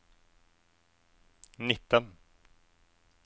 nitten